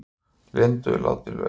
Linda látin laus